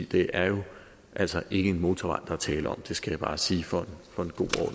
det er jo altså ikke en motorvej er tale om det skal jeg bare sige for